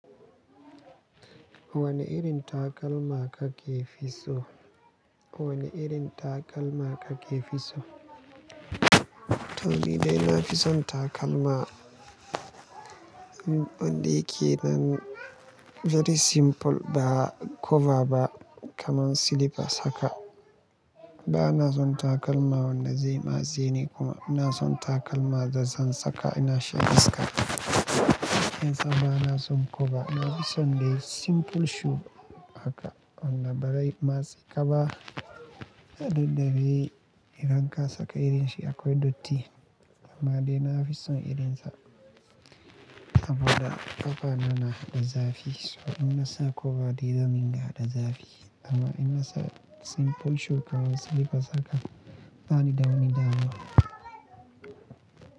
Wane irin takalma kake fi so? Wane irin takalma kake fi so? To ni dai na fi son takalma wanda yake nan very simple ba koba ba kaman silifas haka. Ba na son takalma wannan dai matse ni kuma. Inaa son takalma da zan saka ina shan iska. Yan sa ba na son koba. Na fi son dai simple shu haka wanda ba rai matse kaba. Hade da dai idan ka saka irin shi akwai dotti. Amma dai na fi son irin sa sabuda kafa na na da zafi. So ina sa koba dai zan dinga hada zafi. Amma ina sa simple shu kaman silifa saka ba ni da wani damuwa.